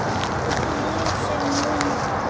Líf sem mun vara.